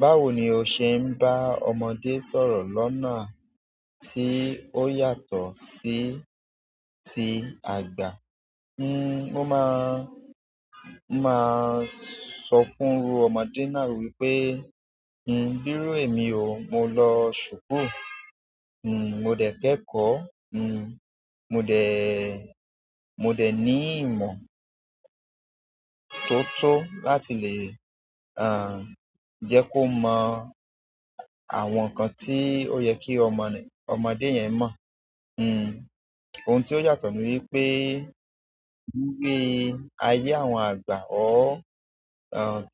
Báwo ni o ṣe ń bá ọmọdé sọ̀rọ̀ lọ́nà tí ó yàtọ̀ sí ti àgbà? N ó máa, máa sọ fún ọmọdé náà wípé, "Bírú èmi o, mo lọ ṣùkúù, mo dẹ̀ kẹ́kọ̀ọ́, mo dẹ̀, mo dẹ̀ ní ìmọ̀ tó tó láti lè, à, jẹ́ kó mọ àwọn nǹkan tí ó yẹ kí ọmọdé yẹn mọ̀. Ohun tí ó yàtọ̀ ni wípé ní ayé àwọn àgbà or